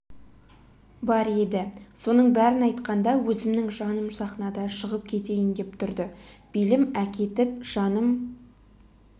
бар еді соның бәрін айтқанда өзімнің жаным сахнада шығып кетейін деп тұрды белім әкетіп жаным